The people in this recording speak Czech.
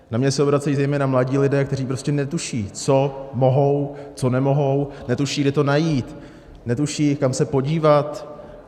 Na mě se obracejí zejména mladí lidé, kteří prostě netuší, co mohou, co nemohou, netuší, kde to najít, netuší, kam se podívat.